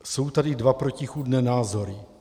Jsou tady dva protichůdné názory.